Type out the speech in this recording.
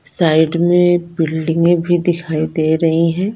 Side में बिल्डिंगें भी दिखाई दे रही हैं।